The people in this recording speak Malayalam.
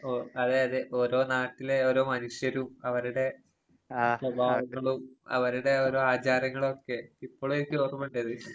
ഓ അതെയതെ. ഓരോ നാട്ടിലെ ഓരോ മനുഷ്യരും അവരുടെ സ്വഭാവങ്ങളും അവരുടെ ഓരോ ആചാരങ്ങളൊക്കെ, ഇപ്പളുവെനിക്കോർമ്മിണ്ടത്.